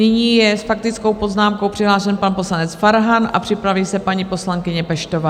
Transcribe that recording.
Nyní je s faktickou poznámkou přihlášen pan poslanec Farhan a připraví se paní poslankyně Peštová.